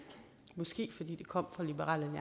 måske fordi det kom fra liberal